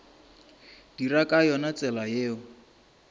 dira ka yona tsela ye